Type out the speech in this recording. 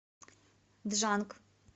джанг